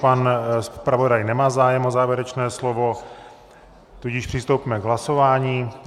Pan zpravodaj nemá zájem o závěrečné slovo, tudíž přistoupíme k hlasování.